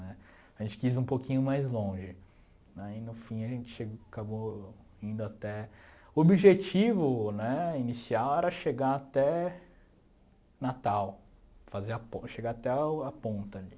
Né, a gente quis um pouquinho mais longe, né, e no fim a gente che acabou indo até... O objetivo né inicial era chegar até Natal, fazer a pon chegar até o a ponta ali.